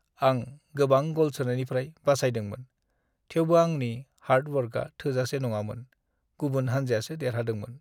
आं गोबां गल सोनायनिफ्राय बासायदोंमोन, थेवबो आंनि हार्ड वर्कआ थोजासे नङामोन, गुबुन हान्जायासो देरहादोंमोन।